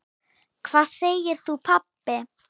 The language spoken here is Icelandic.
Hvað segir þú pabbi?